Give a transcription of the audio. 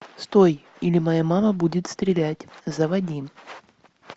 стой или моя мама будет стрелять заводи